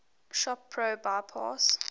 shop pro bypass